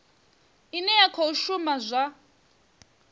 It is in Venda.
ine ya khou shuma zwa